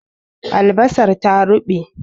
Albasar ta ruɓe